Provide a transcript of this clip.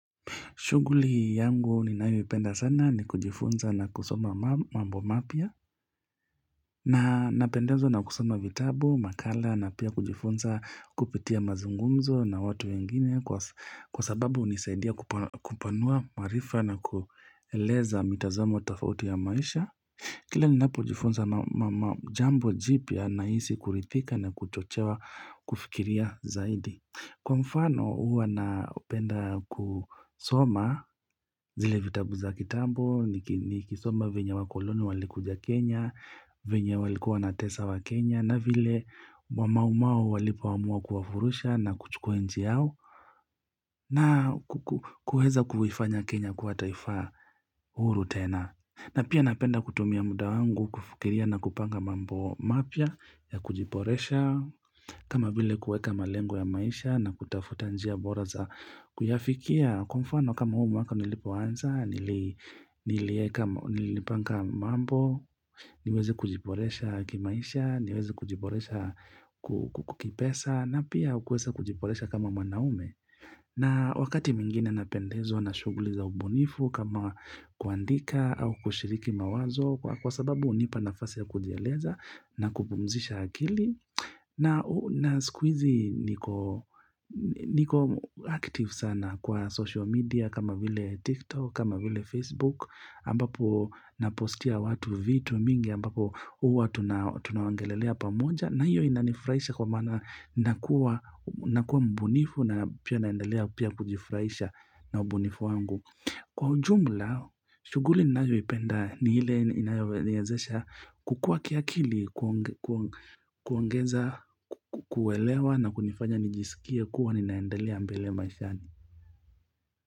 Shughuli yangu ninayoipenda sana ni kujifunza na kusoma mambo mapya na napendezwa na kusoma vitabu, makala na pia kujifunza kupitia mazungumzo na watu wengine kwa sababu unisaidia kupanua maarifa na kueleza mitazomo tafauti ya maisha. Kila ni napojifunza jambo jipya naisi kuridhika na kuchochewa kufikiria zaidi. Kwa mfano huwa naupenda kusoma zile vitabu za kitambo, nikisoma venye wakoloni walikuja Kenya, venye walikuwa wanatesa waKenya, na vile wamaumau walipoamua kuwafurusha na kuchukua nchi yao na kuheza kuifanya Kenya kua taifaa huru tena. Na pia napenda kutumia muda wangu kufikiria na kupanga mambo mapya ya kujiporesha, kama vile kueka malengo ya maisha na kutafuta njia bora za kuyafikia, kwa mfano kama huu waka nilipoanza, nili nili nilipanga mambo, niweze kujiporesha kimaisha, niweze kujiboresha ku kipesa, na pia kuweza kujiporesha kama manaume. Na wakati mwingine napendezwa na shuguli za umbunifu kama kuandika au kushiriki mawazo kwa sababu unipa nafasi ya kujieleza na kupumzisha akili na siku hizi niko niko active sana kwa social media kama vile tiktok, kama vile facebook ambapo napostia watu vitu mingi ambapo uwa tunaongelelea pamoja na hiyo inanifuraisha kwa maana na kuwa mbunifu na pia naendelea pia kujifuraisha na ubunifu wangu Kwa ujumla, shughuli ninayoipenda ni ile inayoniezesha kukua kiakili kuongeza kuwelewa na kunifanya nijisikie kuwa ninaendelea mbele maishani.